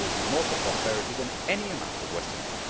That will do more for prosperity than any amount of Western aid.